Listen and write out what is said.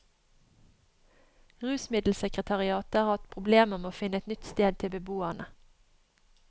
Rusmiddelsekretariatet har hatt problemer med å finne et nytt sted til beboerne.